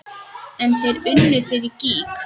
En þeir unnu fyrir gýg.